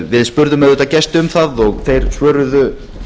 við spurðum auðvitað gesti um það og þeir svöruðu